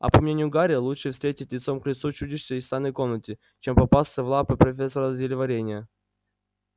а по мнению гарри лучше встретить лицом к лицу чудище из тайной комнаты чем попасться в лапы профессора зельеварения